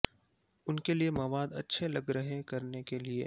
ان کے لئے مواد اچھے لگ رہے کرنے کے لئے